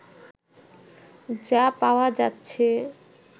যা পাওয়া যাচ্ছে